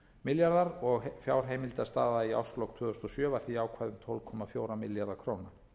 milljarðar króna og fjárheimildastaða í árslok tvö þúsund og sjö var því jákvæð um tólf komma fjóra milljarða króna